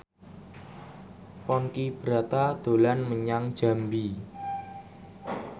Ponky Brata dolan menyang Jambi